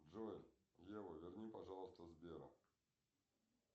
джой ева верни пожалуйста сбера